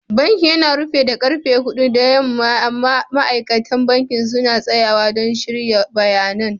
Bankin yana rufe da karfe hudu na yamma amma ma'aikatan banki suna tsayawa don shirya bayanan.